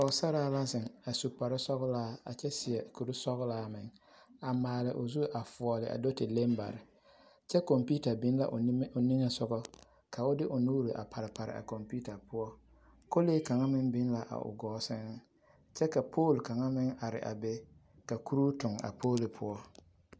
Pɔɡesaraa ka zeŋ a su kparsɔɡelaa a kyɛ seɛ kursɔɡelaa meŋ a maale o zu foɔle a do te leŋ bare kyɛ kɔmpiita biŋ la o niŋe soɡa ka o de o nuuri a parepare a kɔmpiita poɔ kolee kaŋ meŋ biŋ la a o ɡɔɔ sɛŋ kyɛ ka pooli kaŋa meŋ are a be ka kuroo tuɡi a pooli poɔ.